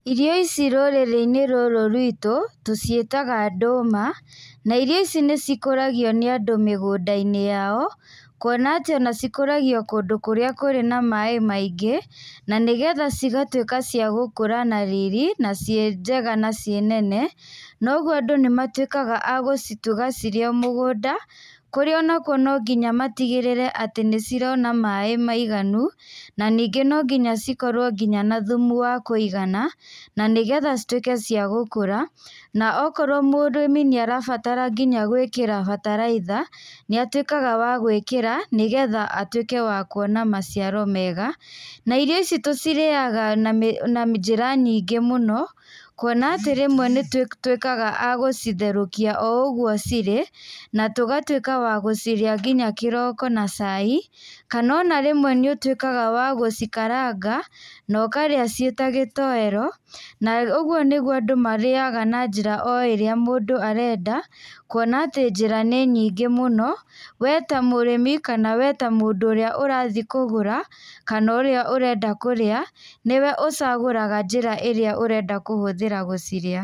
Irĩo ici rũrĩrĩ-inĩ rũrũ rwĩtũ, tũ ciĩtaga ndũma ,na irio ici nĩ cikũragio nĩ andũ mĩgũndainĩ yao, kuona atĩ cikũragio kũrĩa kũrĩ na maaĩ maingĩ, na nĩ getha cigatuĩka ciagũkũra na riri, na ciĩ njega na ciĩ nene. Na ũguo andũ nĩ matuĩkaga agũcituga cirĩ o mũgũnda, kũrĩa nakuo no nginya matigĩrĩre nĩ ciona maaĩ maiganu, na ningĩ no nginya cikorwo nginya na thumu wa kũigana, na nĩgetha cituĩke cia gũkũra na okorwo mũrĩmi nĩ arabatara nginya gwĩkĩra bataraitha nĩ atuĩkaga wa gũĩkĩra nĩ getha atuĩke wa kuona maciaro mega. Na irio ici tũcirĩaga na njĩra nyingĩ mũno kuona atĩ rĩmwe nĩ tũtuĩkaga agũciterũkia o ũguo cirĩ, na tũgatuĩka wa gũcirĩa nginya kĩroko na cai kana ona rĩmwe nĩ ũtuĩkaga wa gũcikaranga na ũkarĩa cia ta gĩtoero. Na ũguo nĩguo mũndũ arĩaga na njĩra o ĩrĩa mũndũ arenda kuona atĩ njĩra nĩ nyingĩ mũno we ta mũrĩmĩ kana mũndũ ũrĩa arathiĩ kũgũra kana ũrĩa arathiĩ kũrĩa nĩwe ũcagũraga njĩra ĩrĩa ũrenda kũhũthĩra gũcirĩa.